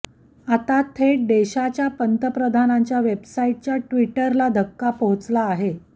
आता थेट देशाच्या पंतप्रधानांच्या वेबसाईटच्या ट्वीटरला धक्का पोहोचला आहे